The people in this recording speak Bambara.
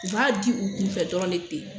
U b'a di u kunfɛ dɔrɔn ne ten.